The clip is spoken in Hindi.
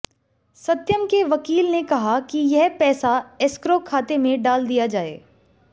सत्यम के वकील ने कहा कि यह पैसा एस्क्रो खाते में डाल दिया जाए